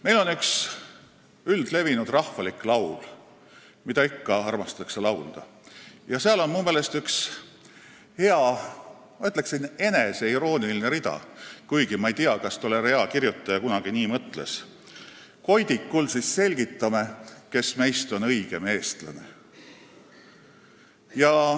Meil on üks üldlevinud rahvalik laul, mida ikka armastatakse laulda, ja seal on minu meelest üks hea, ma ütleksin, et eneseirooniline rida : "Koidikul siis selgitame, kes meist on õigem eestlane.